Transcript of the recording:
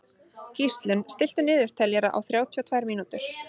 Gíslunn, stilltu niðurteljara á þrjátíu og tvær mínútur.